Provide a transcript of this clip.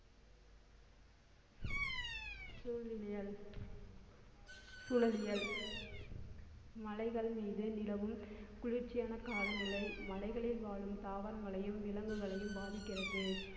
சூழிலியல்~ சூழலியல் மலைகள் மீது நிலவும் குளிர்ச்சியான காலநிலை மலைகளில் வாழும் தாவரங்களையும் விலங்குகளையும் பாதிக்கிறது